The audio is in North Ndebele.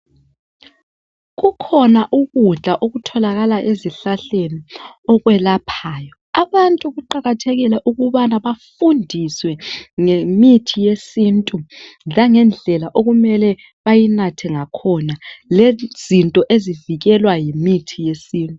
Kukhona ukudla okutholakala ezihlahleni okwelaphayo. Abantu kuqakathekile ukubana bafundiswe ngemithi yesintu langendlela okumele bayinathe ngakhona Lezinto ezivikelwa yimithi yesintu.